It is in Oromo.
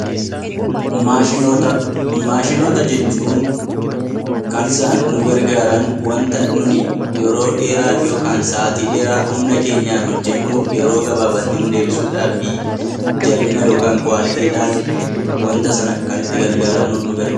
Maashinoota Maashinoota jechuun kan isaan nu gargaaran waanta nuti yeroo dheeraa yookaan humna keenyaan Sa'aatii dheeraa hojjennu yeroo gabaabaatti nuuf deebisuudhaaf fi jabina yookaan ku'aaliitiidhaan waanta sana kan itti gargaaramnuuf nu gargaara.